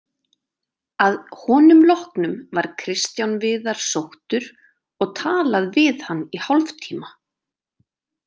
Að honum loknum var Kristján Viðar sóttur og talað við hann í hálftíma.